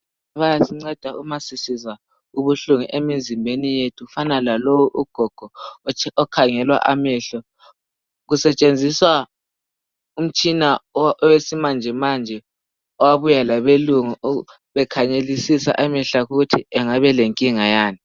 Bayasinceda uma sisizwa ubuhlungu emizimbeni yethu. Kufana lalowu ugogo okhangelwa amehlo, kusetshenziswa umtshina owesimanjemanje owabuya labelungu bekhangelisisa amehlo akhe ukuthi angabe elenkinga yani